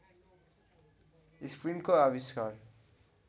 स्क्रिनको आविष्कार